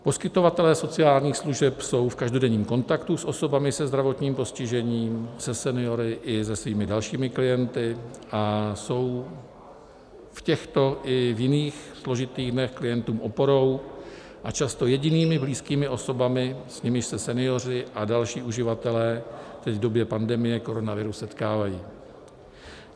Poskytovatelé sociálních služeb jsou v každodenním kontaktu s osobami se zdravotním postižením, se seniory i se svými dalšími klienty a jsou v těchto i v jiných složitých dnech klientům oporou a často jedinými blízkými osobami, s nimiž se senioři a další uživatelé teď v době pandemie koronaviru setkávají.